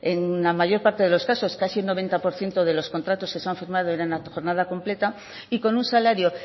en la mayor parte de los casos casi el noventa por ciento de los contratos que se han firmado eran a jornada completa y con un salario